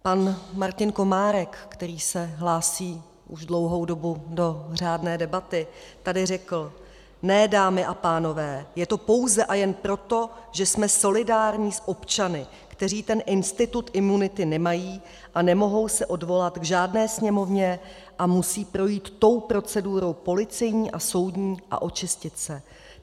Pan Martin Komárek, který se hlásí už dlouhou dobu do řádné debaty, tady řekl: "Ne, dámy a pánové, je to pouze a jen proto, že jsme solidární s občany, kteří ten institut imunity nemají a nemohou se odvolat k žádné Sněmovně a musí projít tou procedurou policejní a soudní a očistit se.